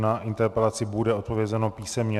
Na interpelaci bude odpovězeno písemně.